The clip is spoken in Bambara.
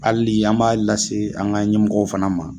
Hali li an b'a lase an ka ɲɛmɔgɔw fana ma.